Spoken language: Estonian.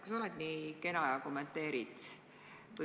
Kas sa oled nii kena ja kommenteerid seda?